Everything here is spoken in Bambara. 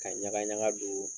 Ka ɲagaɲagadu.